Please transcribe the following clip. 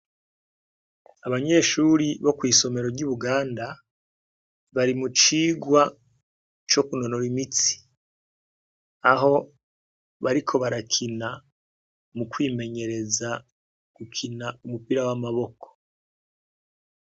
Abanyeshuri bo kw'isomero ry'i buganda bari mu cigwa co kunonora imitsi aho bariko barakina mu kwimenyereza gukina umupira w'amaboko.